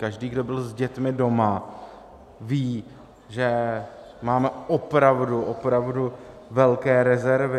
Každý, kdo byl s dětmi doma, ví, že máme opravdu, opravdu velké rezervy.